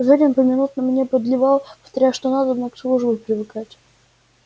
зурин поминутно мне подливал повторяя что надобно к службе привыкать